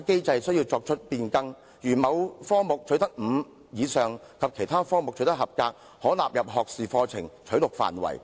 例如，如果學生在某科目取得第五級或以上，以及其他科目取得合格，便可被納入學士課程取錄範圍。